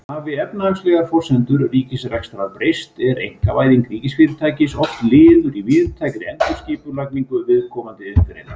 Hafi efnahagslegar forsendur ríkisrekstrar breyst er einkavæðing ríkisfyrirtækis oft liður í víðtækri endurskipulagningu viðkomandi iðngreinar.